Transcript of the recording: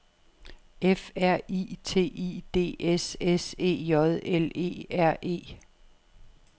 F R I T I D S S E J L E R E